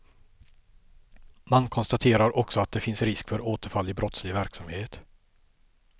Man konstaterar också att det finns risk för återfall i brottslig verksamhet.